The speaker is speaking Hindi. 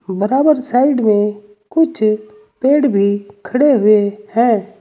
बराबर साइड में कुछ पेड़ भी खड़े हुए हैं।